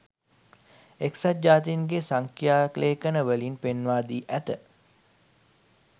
එක්සත් ජාතින්ගේ සංඛ්‍යා ලේඛනවලින් පෙන්වාදී ඇත